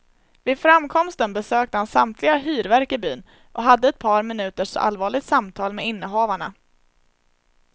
Vid framkomsten besökte han samtliga hyrverk i byn, och hade ett par minuters allvarligt samtal med innehavarna.